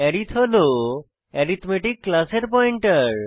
আরিথ হল অ্যারিথমেটিক ক্লাসের পয়েন্টার